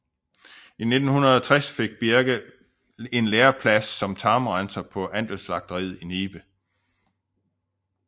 I 1960 fik Birge en læreplads som tarmrenser på andelsslagteriet i Nibe